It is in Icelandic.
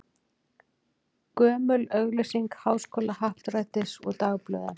Gömul auglýsing Háskólahappdrættis úr dagblöðum.